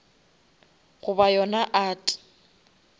goba yona art